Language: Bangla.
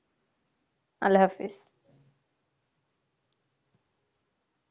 আল্লাহ হাফেজ